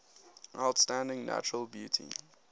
outstanding natural beauty